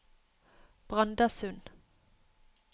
Brandasund